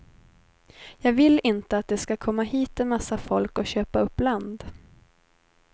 Jag vill inte att det ska komma hit en massa folk och köpa upp land.